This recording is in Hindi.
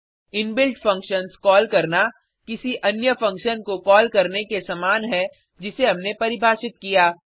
इनबिल्ट फंक्शन्स कॉल करना किसी अन्य फंक्शन को कॉल करने के समान है जिसे हमने परिभाषित किया